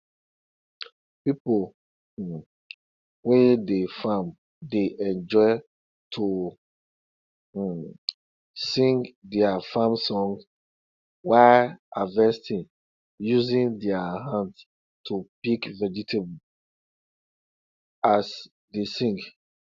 people um wey dey farm dey enjoy to um sing their farm songs while harvesting using their hands to pick vegetables as they sing